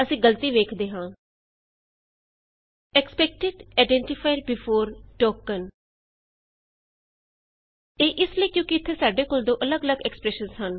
ਅਸੀਂ ਗਲਤੀ ਵੇਖਦੇ ਹਾਂ160 expected identifier before token expected identifier before token ਇਹ ਇਸ ਲਈ ਹੇ ਕਿਉਂਕਿ ਇਥੇ ਸਾਡੇ ਕੋਲ ਦੋ ਅੱਲਗ ਅੱਲਗ ਐਕਸਪਰੈਸ਼ਨਸ ਹਨ